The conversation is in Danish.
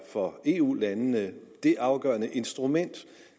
for eu landene er det afgørende instrument